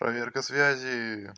проверка связи